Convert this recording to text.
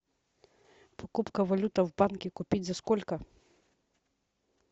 покупка валюты в банке купить за сколько